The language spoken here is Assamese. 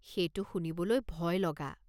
সেইটো শুনিবলৈ ভয়লগা।